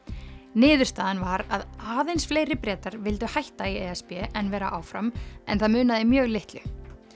niðurstaðan var að aðeins fleiri Bretar vildu hætta í e s b en vera áfram en það munaði mjög litlu